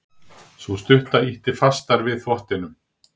Sú stutta ýtti fastar við þvottinum.